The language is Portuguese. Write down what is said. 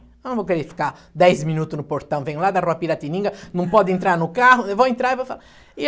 Eu não vou querer ficar dez minutos no portão, venho lá da rua Piratininga, não pode entrar no carro, eu vou entrar e vou falar. E a